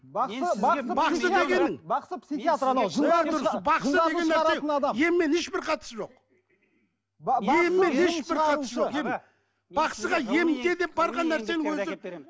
бақсы бақсы бақсы дегенің бақсы деген нәрсе еммен ешбір қатысы жоқ